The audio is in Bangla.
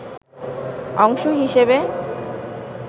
অংশ হিসেবে